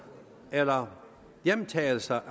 eller hjemtagelse